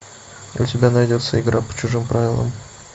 у тебя найдется игра по чужим правилам